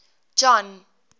john